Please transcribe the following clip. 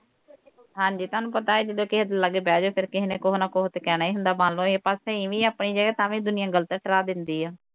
ਹਾਂ ਜੀ ਤੁਹਾਨੂੰ ਪਤਾ ਹੈ ਜਦੋਂ ਕਿਸੇ ਦੇ ਲਾਗੇ ਬਹਿ ਜਾਓ, ਫੇਰ ਕੇਹਿ ਨੇ ਕੁਹ ਨਾ ਕੁਹ ਤੇ ਕਹਿਣਾ ਹੀ ਹੁੰਦਾ ਮੰਨ ਲਓ ਅਹੀ ਸਹੀ ਵੀ ਹਾਂ ਅਪਣੀ ਜਗ੍ਹਾ ਤਾਂ ਵੀ ਦੁਨੀਆ ਗਲਤ ਠਹਿਰਾ ਦਿੰਦੀ ਆ।